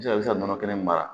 nɔnɔ kɛnɛ in mara